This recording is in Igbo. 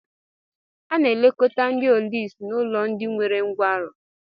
A na-elekọta ndị ọlụsị n'ụlọ ndị nwere nkwarụ